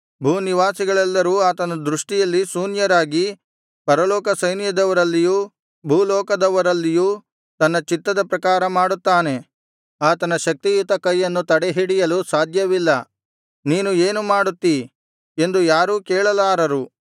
ಭೂನಿವಾಸಿಗಳೆಲ್ಲರೂ ಆತನ ದೃಷ್ಟಿಯಲ್ಲಿ ಶೂನ್ಯರಾಗಿ ಪರಲೋಕ ಸೈನ್ಯದವರಲ್ಲಿಯೂ ಭೂಲೋಕದವರಲ್ಲಿಯೂ ತನ್ನ ಚಿತ್ತದ ಪ್ರಕಾರ ಮಾಡುತ್ತಾನೆ ಆತನ ಶಕ್ತಿಯುತ ಕೈಯನ್ನು ತಡೆಹಿಡಿಯಲು ಸಾಧ್ಯವಿಲ್ಲ ನೀನು ಏನು ಮಾಡುತ್ತೀ ಎಂದು ಯಾರೂ ಕೇಳಲಾರರು